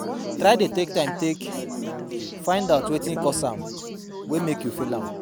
Try dey take time take find out wetin cause am wey mek am fail